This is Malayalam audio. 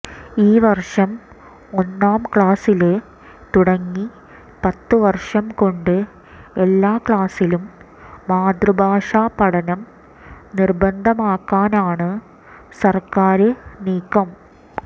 ഈ വര്ഷം ഒന്നാം ക്ലാസില് തുടങ്ങി പത്തു വര്ഷം കൊണ്ട് എല്ലാ ക്ലാസിലും മാതൃഭാഷാ പഠനം നിര്ബന്ധമാക്കാനാണ് സര്ക്കാര് നീക്കം